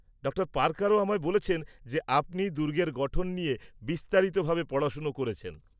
Doctor পার্কারও আমায় বলেছেন যে আপনি দুর্গের গঠন নিয়ে বিস্তারিতভাবে পড়াশোনা করেছেন।